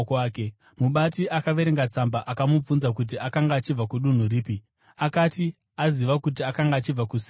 Mubati akaverenga tsamba akamubvunza kuti akanga achibva kudunhu ripi. Akati aziva kuti akanga achibva kuSirisia,